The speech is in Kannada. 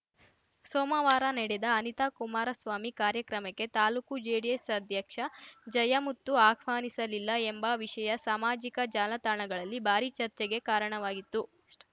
ಸೋಮವಾರ ನಡೆದ ಅನಿತಾ ಕುಮಾರಸ್ವಾಮಿ ಕಾರ್ಯಕ್ರಮಕ್ಕೆ ತಾಲೂಕು ಜೆಡಿಎಸ್‌ ಅಧ್ಯಕ್ಷ ಜಯಮುತ್ತು ಆಹ್ವಾನಿಸಿಲ್ಲ ಎಂಬ ವಿಷಯ ಸಾಮಾಜಿಕ ಜಾಲತಾಣಗಳಲ್ಲಿ ಭಾರೀ ಚರ್ಚೆಗೆ ಕಾರಣವಾಗಿತ್ತುಎಷ್ಟು